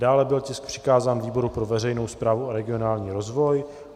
Dále byl tisk přikázán výboru pro veřejnou správu a regionální rozvoj.